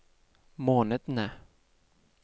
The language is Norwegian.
månedene